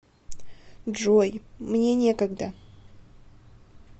джой мне некогда